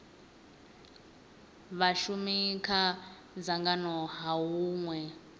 vhashumi kha dzangano ha hunwe